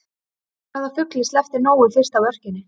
Hvaða fugli sleppti Nói fyrst af örkinni?